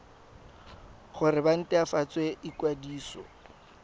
gore ba nt hwafatse ikwadiso